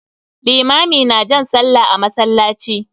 Limami na jan sallah a masallaci.